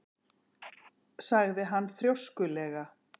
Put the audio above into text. sagði hann þrjóskulega.